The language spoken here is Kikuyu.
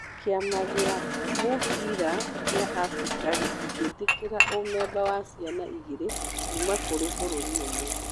Kĩama gĩa mũbira gĩa Afrika gĩtingĩtĩkĩra umemba wa ciana igĩrĩ kuma kũrĩ bũrũri ũmwe.